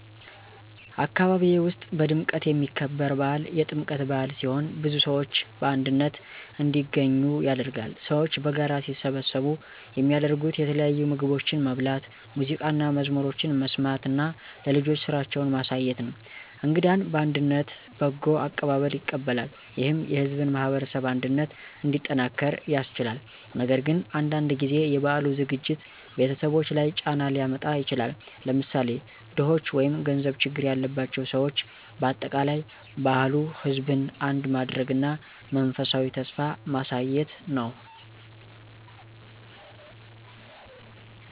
አካባቢዬ ውስጥ በድምቀት የሚከበር በዓል የጥምቀት በአል ሲሆን ብዙ ሰዎች በአንድነት እንዲገኙ ያደርጋል። ሰዎች በጋራ ሲሰበሰቡ የሚያደርጉት የተለያዩ ምግቦችን መብላት፣ ሙዚቃና መዝሙሮችን መስማት እና ለልጆች ስራዎችን ማሳየት ነው። እንግዳን በአንድነት በጎ አቀባበል ይቀበላሉ፣ ይህም የሕዝብን ማህበረሰብ አንድነት እንዲጠናክር ያስችላል። ነገር ግን አንዳንድ ጊዜ የበዓሉ ዝግጅት ቤተሰቦች ላይ ጫና ሊያመጣ ይችላል፣ ለምሳሌ ድኾች ወይም ገንዘብ ችግር ያላቸው ሰዎች። በአጠቃላይ በዓሉ ሕዝብን አንድ ማድረግ እና የመንፈሳዊ ተስፋ ማሳየት ነው።